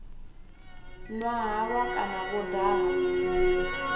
nwa halwa kana vho daha